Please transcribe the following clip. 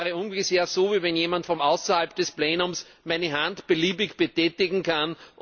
Das wäre ungefähr so, wie wenn jemand von außerhalb des Plenums meine Hand beliebig betätigen kann.